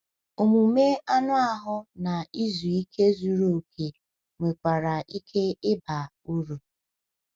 Omume anụ ahụ na izu ike zuru oke nwekwara ike ịba uru.